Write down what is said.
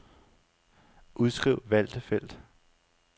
Udskriv valgte felt.